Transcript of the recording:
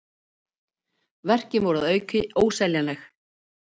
Verkin voru að auki óseljanleg.